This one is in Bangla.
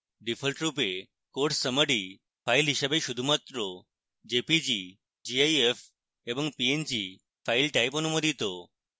ডিফল্টরূপে course summary file হিসাবে শুধুমাত্র jpg gif এবং png file types অনুমোদিত